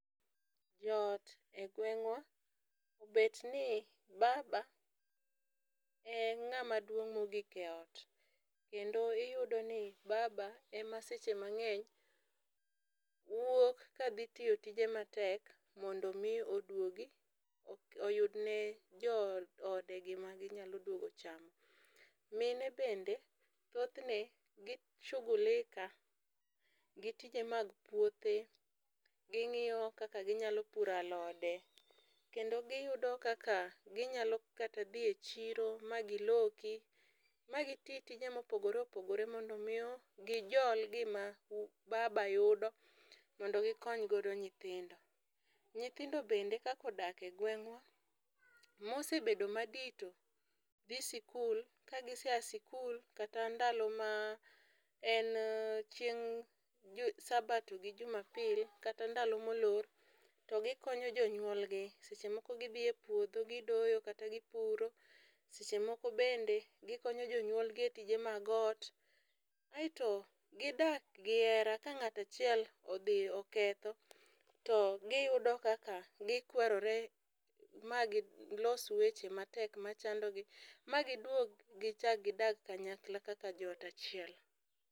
Joot e gweng'wa obet ni baba e ng'ama duong' mogik eot kendo iyudo ni baba ema seche mang'eny wuok kadhi tiyo tije matek mondo mi oduogi oyudne jo ode gima ginyalo duogo chamo. Mine bende thothne gi shughulika gitije mag puothe ging'iyo kaka ginyalo puro alode kendo giyudo kaka ginyalo kata dhiye chiro ma giloki ma giti tije mopogore opogore mondo miyo gijol gima baba yudo mondo gikony godo nyithindo. Nyithindo bende kaka odaka e gwengwa mosebedo madito dhi sikul ka gisea sikul kata ndalo ma en chieng' dwe sabato gi jumapil kata ndalo molor to gikonyo jonyuolgi seche moko gidhi e puodho gidoyo kata gipuro. Seche moko bende gikonyo jonyuol gi e tije mag ot aeto gidak gi hera . Ka ng'ato achiel odhi oketho to giyudo kaka kikwarore ma gilos weche matek machandogi ma giduog gichak kidag kanyakla kaka joot achiel.